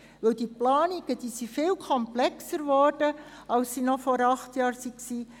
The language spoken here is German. Denn die Planungen sind viel komplexer geworden als sie es noch vor acht Jahren waren.